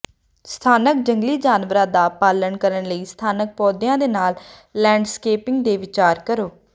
ਸਥਾਨਕ ਜੰਗਲੀ ਜਾਨਵਰਾਂ ਦਾ ਪਾਲਣ ਕਰਨ ਲਈ ਸਥਾਨਕ ਪੌਦਿਆਂ ਦੇ ਨਾਲ ਲੈਂਡਸਕੇਪਿੰਗ ਤੇ ਵਿਚਾਰ ਕਰੋ